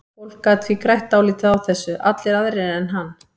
Fólk gat því grætt dálítið á þessu, allir aðrir en hann.